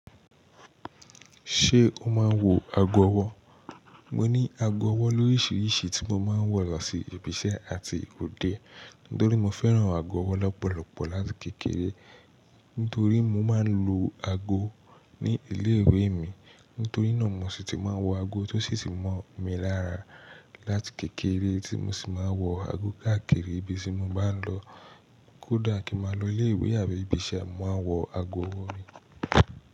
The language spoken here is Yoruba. Ṣé o máa ń wọ ago ọwọ́? Mo ní ago ọwọ́ lóríṣiríṣi tí mo máa ń wọ lọ sí ibi iṣẹ́ àti òde. Nítorí mo fẹ́ran ago ọwọ́ lọ́pọ̀lọpọ̀ láti kékeré. Nítorí mo máa ń lo ago ní ilé ìwé mi. Nítorí náà mo sì ti máa wọ ago tó sì ti mọ̀ mi lára láti kékeré tí mo sì máa wọ ago káàkiri ibi tí mo bá ń lọ. Kódà kí ń máa lọ ilé ìwé àbí ibi iṣẹ́, mo màá wọ ago ọwọ́ mi.